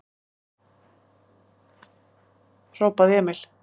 hrópaði Emil.